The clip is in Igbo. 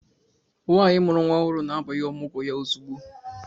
Nwaanyi mụrụ nwa ọhụrụ na-abanye Ọmụgwọ ya ozugbo.